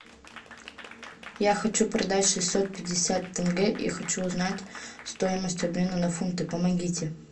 я хочу продать шестьсот пятьдесят тенге и хочу узнать стоимость обмена на фунты помогите